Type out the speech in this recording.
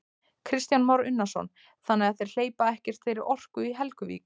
Kristján Már Unnarsson: Þannig að þeir hleypa ekkert þeirri orku í Helguvík?